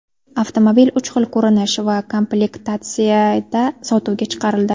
Avtomobil uch xil ko‘rinish va komplektatsiyada sotuvga chiqarildi .